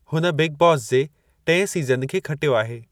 हुन बिग बॉस जे टिएं सीजन खे खटियो आहे।